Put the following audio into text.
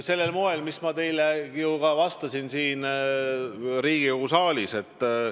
Sellisel moel, mida ma teile siin Riigikogu saalis vastates juba selgitasin.